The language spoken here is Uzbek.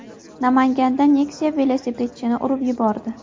Namanganda Nexia velosipedchini urib yubordi.